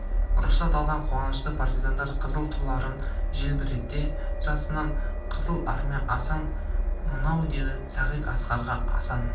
рұқсат алған қуанышты партизандар қызыл туларын желбірете жасасын қызыл армия асан мынау деді сағит асқарға асан